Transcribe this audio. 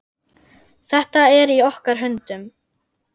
Þetta er í okkar höndum.